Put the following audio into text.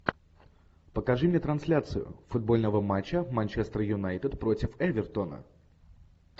покажи мне трансляцию футбольного матча манчестер юнайтед против эвертона